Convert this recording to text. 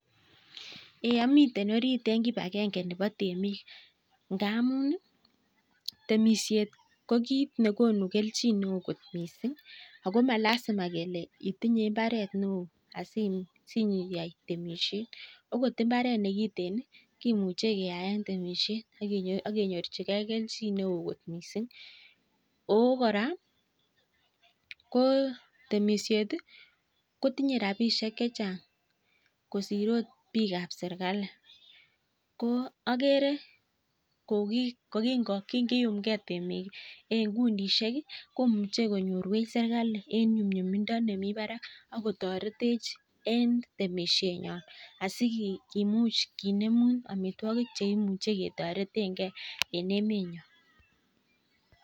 Amitei orit eng kipakengee neboo temik ngamun ii temishet ko kit nekonuu keljin missing ako malazima itinyee mbaret neo missing akot imbaret ne kitikin ii kemuchee keai temishek akenyorjike keljin missing kikiumkei temik eng kundishek komuchei konyorwech serkali akotoretech eng temishet